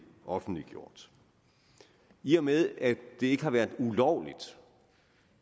offentliggjort i og med at det ikke har været ulovligt